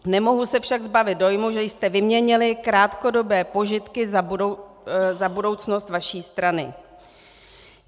Nemohu se však zbavit dojmu, že jste vyměnili krátkodobé požitky za budoucnost vaší strany.